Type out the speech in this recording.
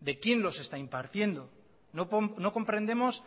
de quién los está impartiendo no comprendemos